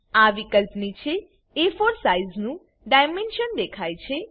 આ વિકલ્પ નીચે એ4 સાઇઝ નું ડાઈમેન્શન દેખાય છે